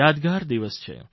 યાદગાર દિવસ છે